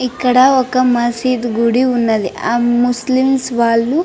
ఇక్కడ ఒక మసిదు గుడి ఉన్నదీ ఆ ముస్లిమ్స్ వాళ్ళు --